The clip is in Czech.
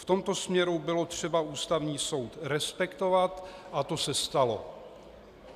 V tomto směru bylo třeba Ústavní soud respektovat, a to se stalo.